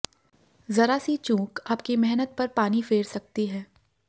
जरा सी चूक आपकी मेहनत पर पानी फेर सकती है